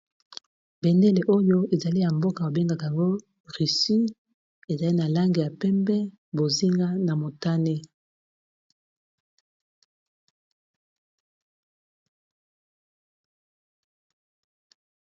Bendele oyo ezali ya mboka bo bengaka ngo Russie ezali na langi ya pembe bozinga na motane.